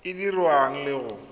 e e dirwang le go